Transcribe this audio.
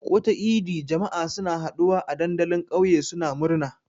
Duk wata idi, jama'a suna haɗuwa a dandalin ƙauye suna murna.